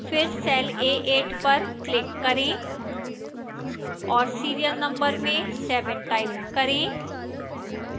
फिर cell a8 पर click करें और serial number में 7 type करें